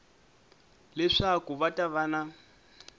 leswaku va ta va na